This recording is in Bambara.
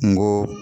N ko